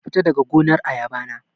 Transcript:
Kafita daga gonar ayaba na